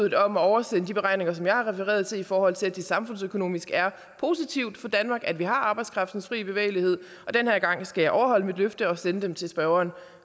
at oversende de beregninger som jeg har refereret til i forhold til at det samfundsøkonomisk er positivt for danmark at vi har arbejdskraftens fri bevægelighed den her gang skal jeg overholde mit løfte og sende det til spørgeren